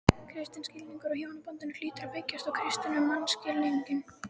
Kristinn skilningur á hjónabandinu hlýtur að byggjast á kristnum mannskilningi.